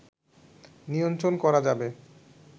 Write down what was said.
নিয়ন্ত্রণ করা যাবে